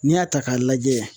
N'i y'a ta k'a lajɛ.